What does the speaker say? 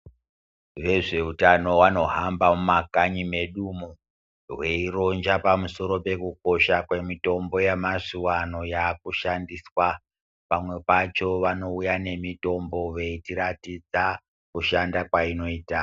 Vezveutano vanohamba mumakanyi medumo veiroja pamusoro pekukosha kemitombo yamazuvaano yakushandiswa. Pamwe pacho vanouya nemitombo veitiratidza kushanda kwainoita.